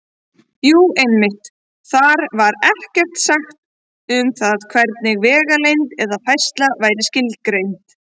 Jú, einmitt: Þar var ekkert sagt um það hvernig vegalengd eða færsla væri skilgreind!